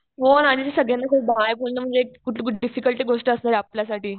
हो ना आणि ते सगळ्यांना बाय बोलणं म्हणजे खूप डिफिकल्ट गोष्ट असणार आहे आपल्यासाठी.